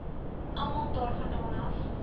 almal daarvandaan af